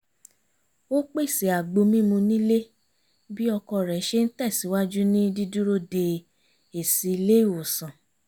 ó pèsè àgbo mímu nílé bí ọkọ rẹ̀ ṣe ń tẹ̀sìwájú ní dídúró de èsì ilé ìwòsàn